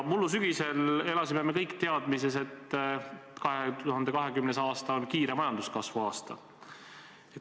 Mullu sügisel me elasime kõik teadmises, et 2020. aasta on kiire majanduskasvu aasta.